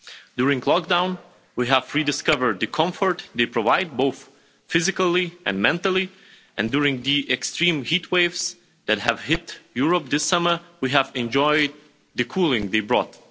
During lockdown, we have rediscovered the comfort they provide, both physically and mentally, and during the extreme heat waves that have hit Europe this summer, we have enjoyed the cooling they brought.